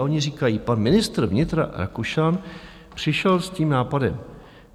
A oni říkají - pan ministr vnitra Rakušan přišel s tím nápadem.